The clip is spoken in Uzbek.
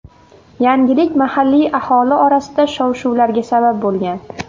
Yangilik mahalliy aholi orasida shov-shuvlarga sabab bo‘lgan.